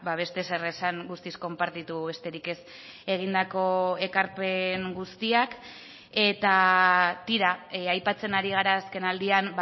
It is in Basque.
beste ezer esan guztiz konpartitu besterik ez egindako ekarpen guztiak eta tira aipatzen ari gara azkenaldian